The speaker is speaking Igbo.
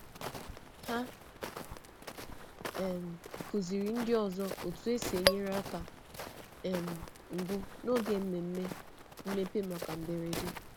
Hà um kụzìrì ndị ọzọ otú e si enyere aka um mbụ n’oge mmemme mmepe maka mberede.